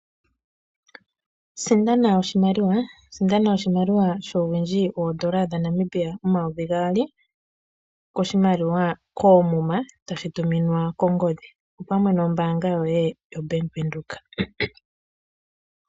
Sindana oshimaliwa shuuwindji woN$2000 koomuma, toshi tuminwa kongodhi, opamwe nombaanga yoye yaBank Windhoek.